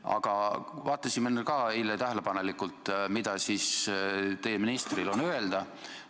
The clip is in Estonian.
Aga me vaatasime ka eile tähelepanelikult, mida teie ministril öelda on.